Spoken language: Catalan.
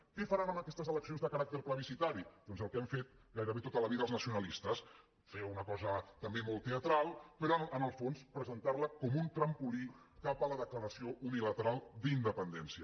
què faran amb aquestes eleccions de caràcter plebiscitari doncs el que han fet gairebé tota la vida els nacionalistes fer una cosa també molt teatral però en el fons presentar les com un trampolí cap a la declaració unilateral d’independència